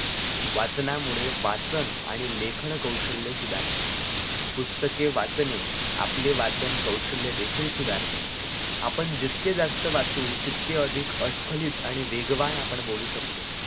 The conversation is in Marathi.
वाचनामुळे वाचन आणि लेखन कौशल्य सुधारते पुस्तके वाचणे आपले वाचन कौशल्य देखील सुधारते. आपण जितके जास्त वाचू तितके अधिक अस्खलित आणि वेगवान आपण बोलू शकतो